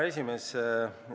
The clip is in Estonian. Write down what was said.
Hea esimees!